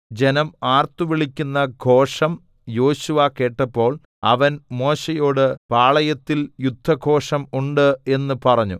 ജനം ആർത്തുവിളിക്കുന്ന ഘോഷം യോശുവ കേട്ടപ്പോൾ അവൻ മോശെയോട് പാളയത്തിൽ യുദ്ധഘോഷം ഉണ്ട് എന്ന് പറഞ്ഞു